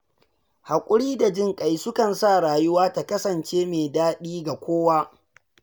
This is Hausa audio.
Haƙuri da jinƙai sukan sa rayuwa ta kasance mai daɗi ga kowa.